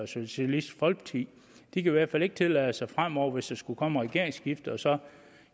socialistisk folkeparti de kan i hvert fald ikke tillade sig fremover hvis der skulle komme et regeringsskifte så at